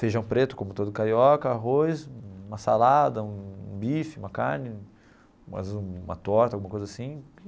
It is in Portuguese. Feijão preto, como todo carioca, arroz, uma salada, um bife, uma carne, uma torta, alguma coisa assim.